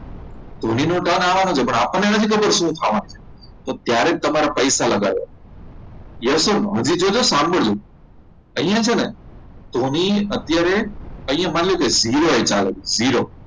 ધોનીનો turn આવવાનો છે પણ આપણને નથી ખબર શું થવાનું છે તો ત્યારે તમારે પૈસા લગાવ્યા યસ ઓર નો હજી જોજો અહીંયા જે છે ને ધોની અત્યારે માની zero એ ચાલે છે